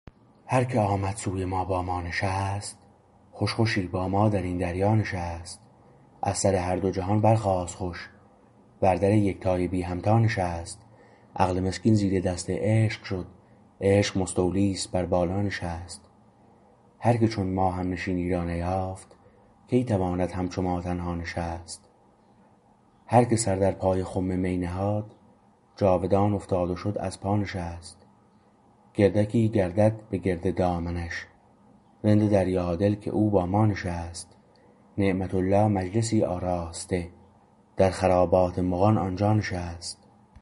هر که آمد سوی ما با ما نشست خوش خوشی با ما درین دریا نشست از سر هر دو جهان برخاست خوش بر در یکتای بی همتا نشست عقل مسکین زیر دست عشق شد عشق مستولی است بر بالا نشست هر که چون ما همنشینی را نیافت کی تواند همچو ما تنها نشست هر که سر در پای خم می نهاد جاودان افتاد و شد از پا نشست گردکی گردد به گرد دامنش رند دریا دل که او با ما نشست نعمت الله مجلسی آراسته در خرابات مغان آنجا نشست